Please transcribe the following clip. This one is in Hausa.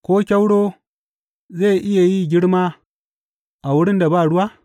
Ko kyauro zai iya yi girma a wurin da ba ruwa?